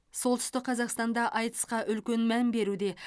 солтүстік қазақстанда айтысқа үлкен мән беруде